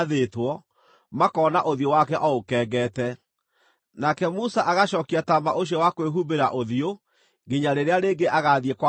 makona ũthiũ wake o ũkengete. Nake Musa agacookia taama ũcio wa kwĩhumbĩra ũthiũ nginya rĩrĩa rĩngĩ agaathiĩ kwaria na Jehova.